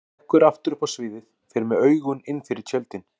Hann stekkur aftur upp á sviðið, fer með augun innfyrir tjöldin.